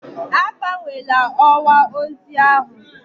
Agbanwela ọwa ozi ahụ!